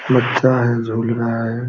बच्चा है झूला है।